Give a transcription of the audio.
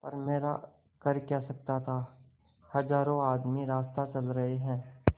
पर मेरा कर क्या सकता था हजारों आदमी रास्ता चल रहे हैं